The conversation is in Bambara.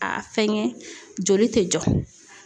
A fɛnkɛ joli tɛ jɔ.